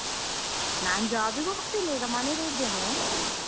ನಾನ್ job ಗೆ ಹೋಗ್ತಿಲ್ಲ ಈಗ ಮನೆಯಲ್ಲೆ ಇದ್ದೇನೆ.